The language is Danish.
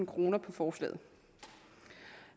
kroner på forslaget